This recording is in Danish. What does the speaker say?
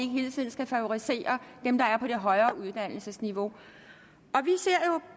hele tiden favorisere dem der er på et højere uddannelsesniveau